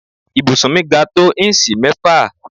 ibùsùn mi ga tó íǹsì mẹ́fà